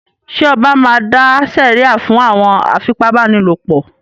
Ṣẹ ọba máa dá sèríà fún àwọn afipábánilòpọ̀?